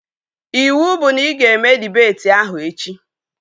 Iwu bụ na ị ga-eme dibeti ahụ echi!